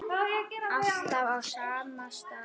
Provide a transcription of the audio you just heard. Alltaf á sama stað.